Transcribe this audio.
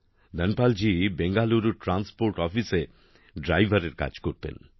ধনপাল জি বেঙ্গালুরুর ট্রান্সপোর্ট অফিসে ড্রাইভারের কাজ করতেন